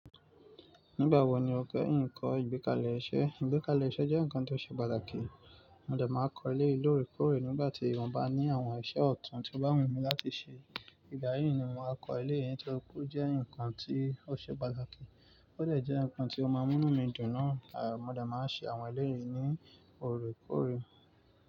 Nígbà wo ni o kéyin ko ìgbékalẹ̀ iṣẹ́? Ìgbékalẹ̀ iṣẹ́ jẹ́ ǹkan tó ṣe pàtàkì. Mó dẹ máa n kọ eléyìí lóòrèkóòrè nígbà tí mo bá ní awọn iṣẹ́ ọ̀tún tí ó bá wùmí láti ṣe. Ìgbà yìí ni mo máa kọ eléyìí torí pé ó jẹ́ ǹkan ti ó ṣe pàtàkì, ó dé jẹ ǹkan tí ó máa múnu mí dùn náà. À, mo de máa ṣe àwọn eléyìí ní òorékóorè.